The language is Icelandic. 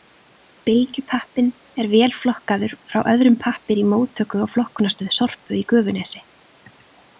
Bylgjupappinn er vélflokkaður frá öðrum pappír í móttöku- og flokkunarstöð SORPU í Gufunesi.